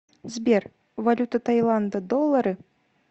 сбер валюта таиланда доллары